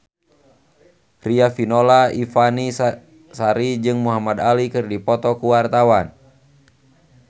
Riafinola Ifani Sari jeung Muhamad Ali keur dipoto ku wartawan